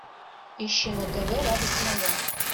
ищи на тв радость моя